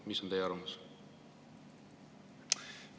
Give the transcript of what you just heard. Mis on teie arvamus?